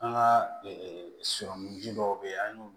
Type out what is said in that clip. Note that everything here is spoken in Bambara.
An ka sɔrɔmuji dɔw bɛ yen an y'olu